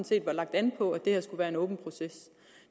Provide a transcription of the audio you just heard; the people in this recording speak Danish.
set var lagt an på at det her skulle være en åben proces